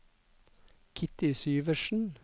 Kitty Syversen